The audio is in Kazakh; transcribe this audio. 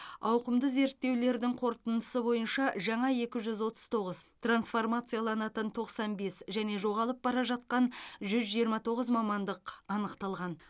ауқымды зерттеулердің қорытындысы бойынша жаңа екі жүз отыз тоғыз трансформацияланатын тоқсан бес және жоғалып бара жатқан жүз жиырма тоғыз мамандық анықталған